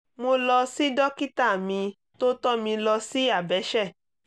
mo lọ sí dókítà mi tó tọ́ mi lọ sí abẹ́ṣẹ̀